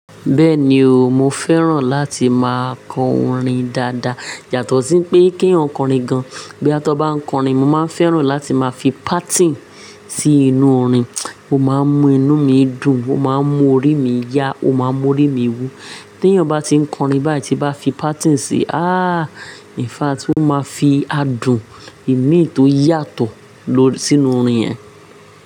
Bẹ́ẹ̀ni o, mo fẹ́ràn láti máa kọ orin dáadáa. Yà tó sí pé kí eyan korin gan-an. Boyá tó bá ń kọ orin, mo máa fẹ́ràn láti máa fi páátìn sí inú orin, ó máa ń mú inú mi dùn, ó máa ń mú orí mi yá, ó máa ń mú orí mi wú. Tí ẹ̀yàn bá ti ń kọ orin báyìí tí bá fi páátì sí i, ah! In fact, ó máa fi adùn ìmíì tó yàtọ̀ lò sí inú orin yẹn.